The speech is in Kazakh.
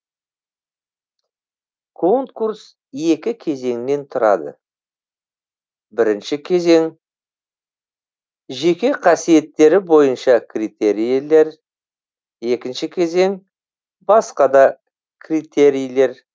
конкурс екі кезеңнен тұрады бірінші кезең жеке қасиеттері бойынша критерийлер екінші кезең басқа да критерийлер